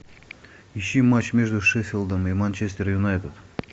ищи матч между шеффилдом и манчестер юнайтед